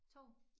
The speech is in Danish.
Tog?